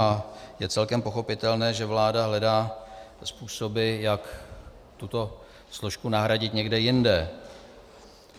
A je celkem pochopitelné, že vláda hledá způsoby, jak tuto složku nahradit někde jinde.